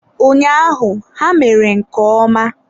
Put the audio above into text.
Ụnyaahụ ha mere nke ọma.